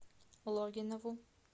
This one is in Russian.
логинову